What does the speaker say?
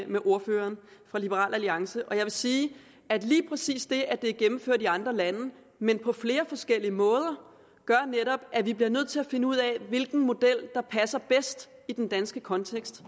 med ordføreren fra liberal alliance jeg vil sige at lige præcis det at det er gennemført i andre lande men på flere forskellige måder gør at vi bliver nødt til at finde ud af hvilken model der passer bedst i den danske kontekst